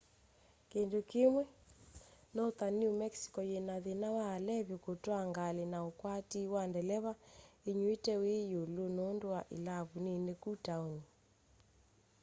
kindu kimwi northern new mexico yina thina wa alevi kutwaa ngali na ukwatii wa ndeleva inyuite wi yulu nundu wa ilavu nini kũ taoni